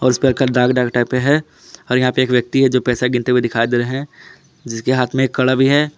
है और यहां पे एक व्यक्ति है जो पैसा गिनते हुए दिखाई दे रहे हैं जिसके हाथ में एक कड़ा भी है।